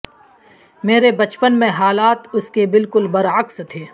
میرے بچپن میں حالات اس کے بالکل برعکس تھے